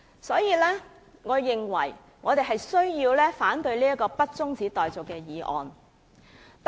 所以，我們必須反對不中止待續的議案。